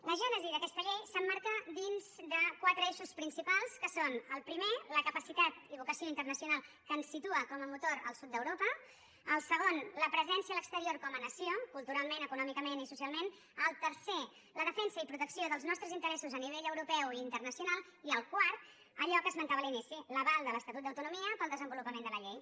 la gènesi d’aquesta llei s’emmarca dins de quatre eixos principals que són el primer la capacitat i vocació internacional que ens situa com a motor al sud d’europa el segon la presència a l’exterior com a nació culturalment econòmicament i socialment el tercer la defensa i protecció dels nostres interessos a nivell europeu i internacional i el quart allò que esmentava a l’inici l’aval de l’estatut d’autonomia per al desenvolupament de la llei